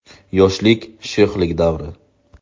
Yoshlik sho‘xlik davri.